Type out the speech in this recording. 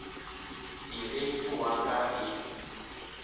ere ke wa ka e